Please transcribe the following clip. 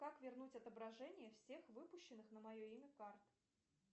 как вернуть отображение всех выпущенных на мое имя карт